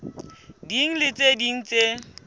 ding le tse ding tse